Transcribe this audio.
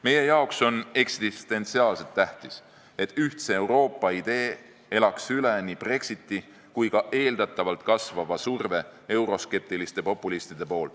Meie jaoks on eksistentsiaalselt tähtis, et ühtse Euroopa idee elaks üle nii Brexiti kui ka euroskeptiliste populistide eeldatavalt kasvava surve.